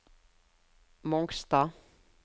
Mongstad